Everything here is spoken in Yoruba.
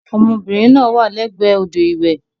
Ọmọbìnrin náà wà lẹ́gbẹ̀ẹ́ odò ìwẹ̀.